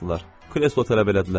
Kreslo tələb elədilər.